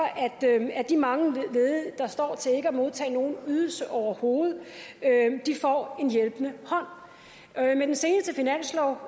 at de mange ledige der står til ikke at modtage nogen ydelse overhovedet får en hjælpende hånd med den seneste finanslov